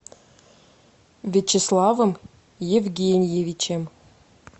вячеславом евгеньевичем